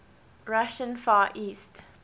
russian far east